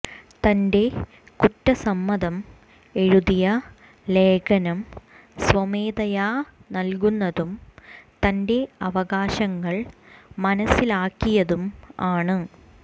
തന്റെ കുറ്റസമ്മതം എഴുതിയ ലേഖനം സ്വമേധയാ നൽകുന്നതും തന്റെ അവകാശങ്ങൾ മനസ്സിലാക്കിയതും ആണ്